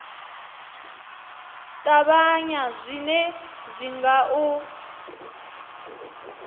ṱavhanya zwine zwi nga u